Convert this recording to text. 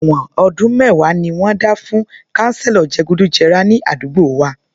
Èwọ̀n ọdún mẹ́wàá ni wọ́n dá fún kanselo je gùdù jẹrà ní àdúgbò wa